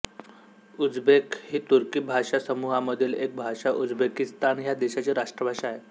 Uzbek ही तुर्की भाषासमूहामधील एक भाषा उझबेकिस्तान ह्या देशाची राष्ट्रभाषा आहे